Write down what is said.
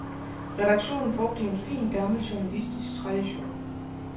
Redaktionen brugte en fin, gammel, journalistisk tradition.